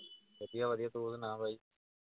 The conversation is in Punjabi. ਵਧੀਆ ਵਧੀਆ, ਤੂੰ ਸੁਣਾਂ ਬਾਈ